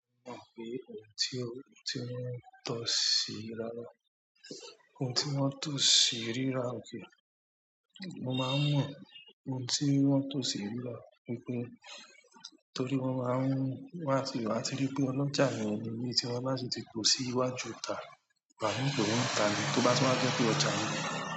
Mo mọ̀ pé ohun tí ó, tí wọ́n ń tò sí rírà, ohun tí wọ́n ń tò sí rírà òkè, mo máa ń mọ ohun tí wọ́n ń tò sí rírà wípé torí mo máa ń wá sí, a ti rí pé ọlọ́jà ni ọ̀nà ilé tí wọn láti ti pọ̀ sí iwájú ọjà, wàá mọ̀ pé ó ń ta ní, tó bá ti wá gẹ́ pé ọjà ni.